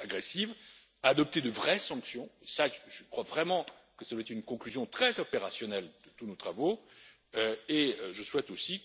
agressive, à adopter de vraies sanctions je crois vraiment que cela doit être une conclusion très opérationnelle pour tous nos travaux et je souhaite aussi